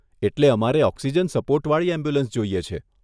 એટલે અમારે oxygen support વાળી એમ્બ્યુલન્સ જોઈએ છે.